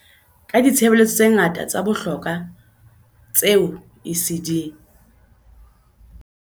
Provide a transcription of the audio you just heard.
Ka ditshebeletso tse ngata tsa bohlokwa tseo ECD